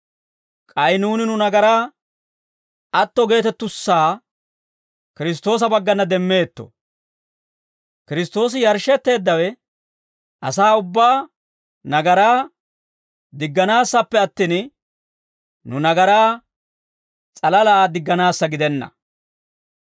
K'ay nuuni nu nagaraa atto geetettussaa Kiristtoosa baggana demmeetto; Kiristtoosi yarshshetteeddawe asaa ubbaa nagaraa digganaassappe attin, nu nagaraa s'alalaa digganaassa gidenna.